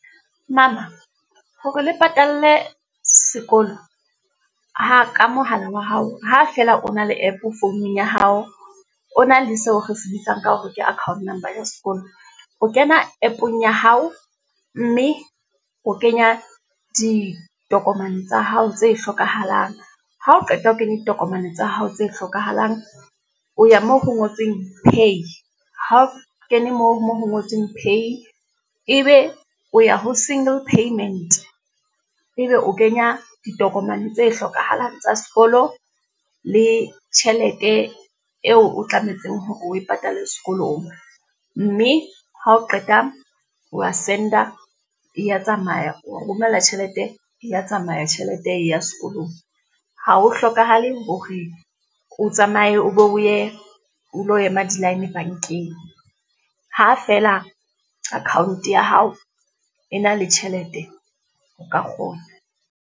Mama, ha re le patalle sekolo, ha ka mohala wa hao, ha fela o na le app founung ya hao, o na le seo re se bitsang ka hore ke account number ya sekolo. O kena app-ong ya hao, mme o kenya ditokomane tsa hao tse hlokahalang. Ha o qeta ho kenya ditokomane tsa hao tse hlokahalang, o ya moo ho ngotsweng pay. Ha o kene moo mo ho ngotsweng pay, e be o ya ho singel payment, e be o kenya ditokomane tse hlokahalang tsa sekolo le tjhelete eo o tlametseng hore o e patale sekolong. Mme ha o qeta o wa send-a, e ya tsamaya, o romella tjhelete e ya tsamaya tjhelete e ya sekolong. Ha ho hlokahale hore o tsamaye o be o ye, o lo ema di-line bankeng. Ha feela account-o ya hao e na le tjhelete, o ka kgona.